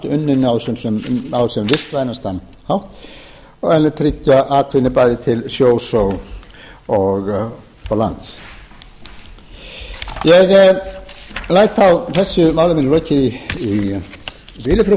unninn á sem vistvænastan hátt en tryggja atvinnu bæði til sjós og lands ég læt þá þessu máli mínu lokið í bili frú